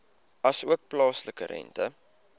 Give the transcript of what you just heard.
asook plaaslike rente